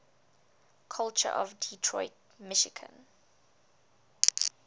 culture of detroit michigan